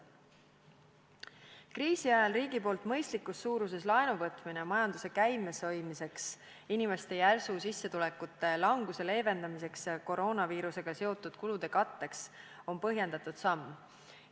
Kriisi ajal riigipoolne mõistlikus suuruses laenu võtmine majanduse käimas hoidmiseks ja inimeste sissetulekute järsu vähenemise leevendamiseks koroonaviirusega seotud kulude katteks on põhjendatud samm.